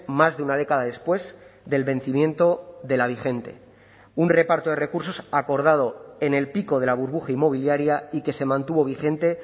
más de una década después del vencimiento de la vigente un reparto de recursos acordado en el pico de la burbuja inmobiliaria y que se mantuvo vigente